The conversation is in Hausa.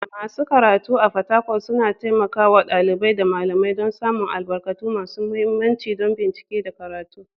Masu karatu a Fatakwal suna taimaka wa ɗalibai da malamai don samun albarkatu masu mahimmanci don bincike da karatu.